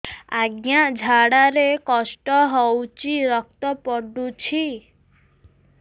ଅଜ୍ଞା ଝାଡା ରେ କଷ୍ଟ ହଉଚି ରକ୍ତ ପଡୁଛି